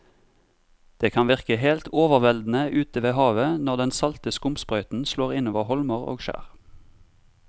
Det kan virke helt overveldende ute ved havet når den salte skumsprøyten slår innover holmer og skjær.